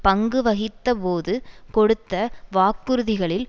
பங்குவகித்த போது கொடுத்த வாக்குறுதிகளில்